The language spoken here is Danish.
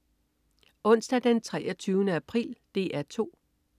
Onsdag den 23. april - DR 2: